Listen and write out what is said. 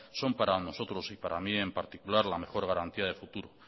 son para nosotros y para mí en particular la mejor garantía del futuro